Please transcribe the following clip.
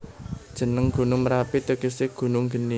Jeneng Gunung Merapi tegese Gunung Geni